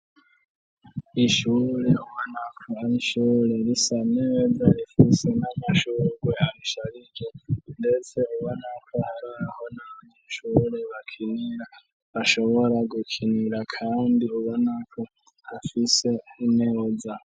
Ishure ma naka nshure risaneweda rifise n'amashuguyashariki, ndetse uba nako hatahonancure bakinira ashobora gukinira, kandi uba nako afise unereza.